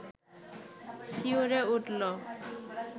শিউরে উঠল